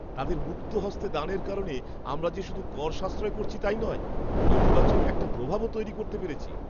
তাদের মুক্তহস্তে দানের কারণে আমরা যে শুধু কর সাশ্রয় করছি তাই নয়, ইতিবাচক একটা প্রভাবও তৈরি করতে পেরেছি!